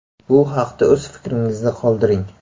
Bu haqda o‘z fikringizni qoldiring.